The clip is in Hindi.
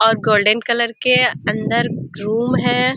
और गोल्डन कलर के अंदर रूम है।